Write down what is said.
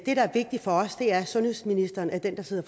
der er vigtigt for os er at sundhedsministeren er den der sidder